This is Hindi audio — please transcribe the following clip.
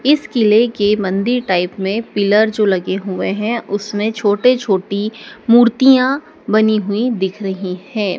इस किले के मंदिर टाइप में पिलर जो लगे हुए है उसमें छोटे छोटी मूर्तियां बनी हुई दिख रही है।